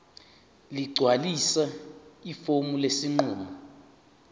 ligcwalise ifomu lesinqumo